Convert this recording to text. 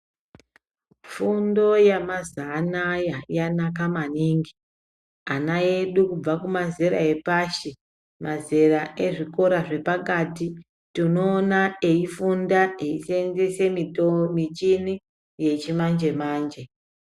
Fundo yamazanaya yanaka maningi, ana edu kubva kumazera epashi, mazera ezvikora zvepakati, tinoona eyifunda ,eyiseyenzese michini yechimanje-manje.